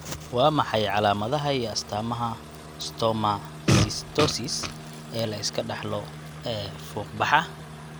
Waa maxay calaamadaha iyo astaamaha stomatocytosis ee la iska dhaxlo ee fuuqbaxa?